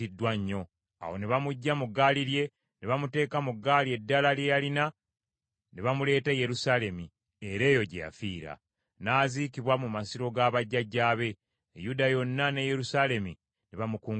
Awo ne bamuggya mu ggaali lye ne bamuteeka mu ggaali eddala lye yalina, ne bamuleeta e Yerusaalemi, era eyo gye yafiira. N’aziikibwa mu masiro ga bajjajjaabe. Yuda yonna ne Yerusaalemi ne bamukungubagira.